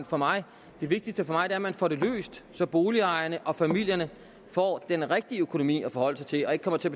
for mig det vigtigste for mig er at man får det løst så boligejerne og familierne får den rigtige økonomi at forholde sig til og ikke kommer til